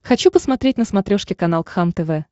хочу посмотреть на смотрешке канал кхлм тв